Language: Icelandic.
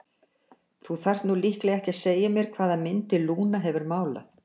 Þú þarft nú líklega ekki að segja mér hvaða myndir Lúna hefur málað.